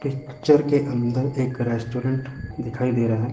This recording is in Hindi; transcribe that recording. इस पिक्चर के अंदर एक रेस्टोरेंट दिखाई दे रहा--